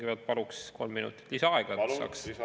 Kõigepealt paluks kolm minutit lisaaega, et saaks rahulikult planeerida.